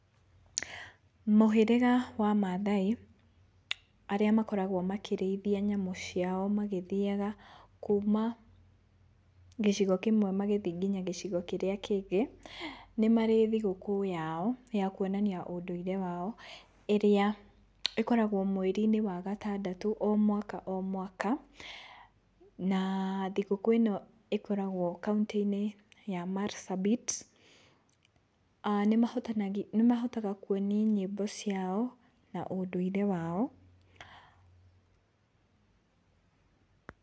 Mũhĩrĩga wa Maathai arĩa makoragwo makĩrĩithia nyamũ ciao magĩthiaga kuma gĩcigo kĩmwe magĩthiĩ kinya gĩcigo kĩrĩa kĩngĩ, nĩ marĩ thigũkũ yao ya kuonania ũndũire wao, ĩrĩa ĩkoragwo mweri-inĩ wa gatandatũ o mwaka o mwaka, na thigũkũ ĩno ĩkoragwo kauntĩ-inĩ ya Marsabit. Nĩmahotaga kuoni nyĩmbo ciao na ũndũire wao.